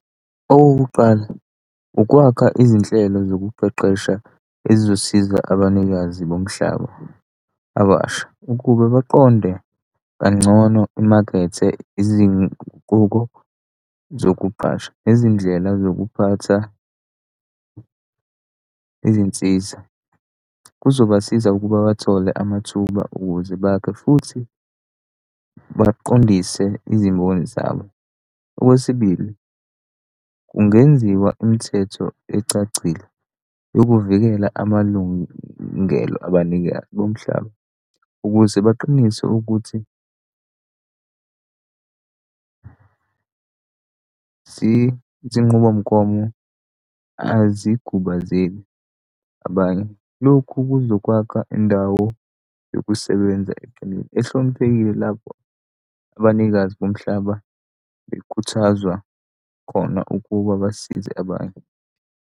Okokuqala, ukwakha izinhlelo zokuqeqesha ezizosiza abanikazi bomhlaba abasha, ukuba baqonde kangcono imakethe, izinguquko zokuqasha nezindlela zokuphatha izinsiza. Kuzobasiza ukuba bathole amathuba ukuze bakhe futhi baqondise izimboni zabo. Okwesibili, kungenziwa imithetho ecacile yokuvikela amalungelo abanikazi bomhlaba ukuze baqiniseke ukuthi izinqubomgomo aziy'khubazeli abanye. Lokhu kuzokwakha indawo yokusebenza eqinile ehloniphekile lapho abanikazi bomhlaba bekhuthazwa khona ukuba basize abanye.